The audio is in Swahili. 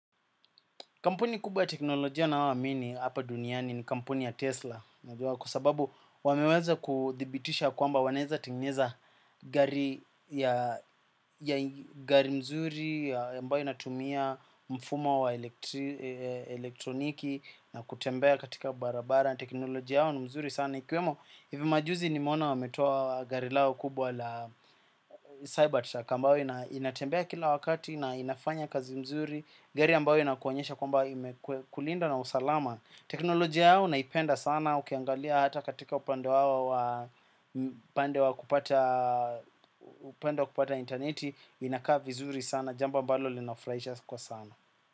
Kampuni kubwa ya teknolojia naoamini hapa duniani ni kampuni ya Tesla. Kwa sababu wameweza kuthibitisha kwamba wanaeza tengeneza gari mzuri ambayo inatumia mfumo wa elektroniki na kutembea katika barabara teknolojia yao ni mzuri sana. Ikiwemo hivi majuzi nimeona wametoa gari lao kubwa la Cyber truck Kambawe inatembea kila wakati na inafanya kazi mzuri. Gari ambayo inakuonyesha kwamba imekulinda na usalama. Teknolojia yao naipenda sana ukiangalia hata katika upande wao. Upande wa kupata intaneti inakaa vizuri sana. Jambo ambalo linafuraisha kwa sana.